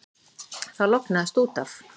Það lognaðist út af.